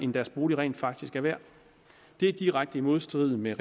det deres bolig rent faktisk er værd det er i direkte modstrid med